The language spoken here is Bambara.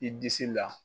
I disi la